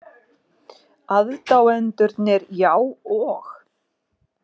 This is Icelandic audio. Aðdáendurnir, já, og?